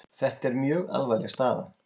Þetta er mjög alvarleg staða